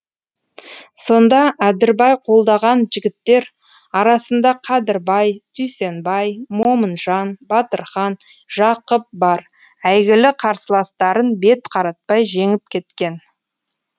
сонда әдірбай қолдаған жігіттер арасында кәдірбай дүйсенбай момынжан батырхан жақып бар әйгілі қарсыластарын бет қаратпай жеңіп кеткен